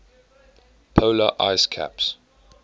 polar ice caps